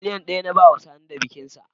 Miliyan ɗaya na bawa Sani da bikinsa